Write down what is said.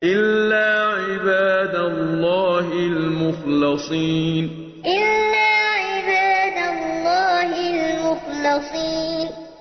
إِلَّا عِبَادَ اللَّهِ الْمُخْلَصِينَ إِلَّا عِبَادَ اللَّهِ الْمُخْلَصِينَ